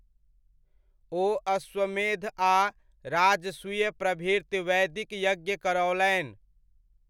ओ अश्वमेध आ राजसूय प्रभृत वैदिक यज्ञ करओलनि।